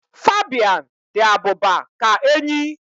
Fabian dị abụba ka enyí